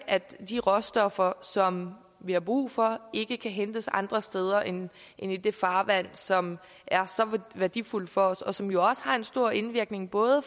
at de råstoffer som vi har brug for ikke kan hentes andre steder end i det farvand som er så værdifuldt for os og som jo også har en stor indvirkning både